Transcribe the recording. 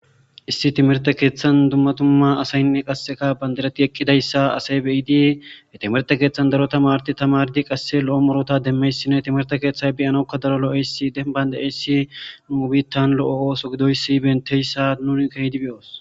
issi timirte keeththan dummatumma asaynne qasseka bandirati ekkidayssa asay beidii e timerte keeththan daro tamardi tamardi qasse lo7o morota demmeyssinne timirte keeththay biyanokka daro lo'eysi denband'eysi mubitan lo'o ooso gidoysi benteyssa nuni kehdi be'oos.